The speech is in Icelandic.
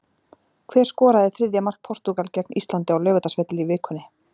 Hver skoraði þriðja mark Portúgal gegn Íslandi á Laugardalsvelli í vikunni?